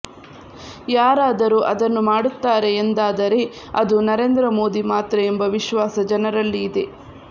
ಯಾರಾದರೂ ಅದನ್ನು ಮಾಡುತ್ತಾರೆ ಎಂದಾದರೆ ಅದು ನರೇಂದ್ರ ಮೋದಿ ಮಾತ್ರ ಎಂಬ ವಿಶ್ವಾಸ ಜನರಲ್ಲಿ ಇದೆ